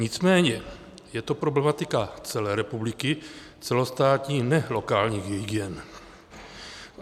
Nicméně je to problematika celé republiky, celostátní, ne lokálních hygien.